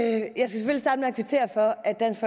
kvittere for at dansk